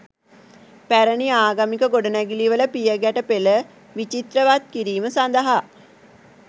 පැරැණි ආගමික ගොඩනැඟිලිවල පියගැට පෙළ විචිත්‍රවත් කිරීම සදහා